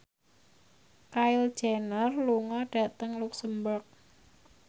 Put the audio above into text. Kylie Jenner lunga dhateng luxemburg